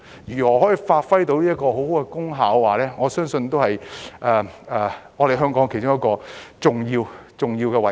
如何發揮很好的功效，我相信是香港其中一個重要的位置。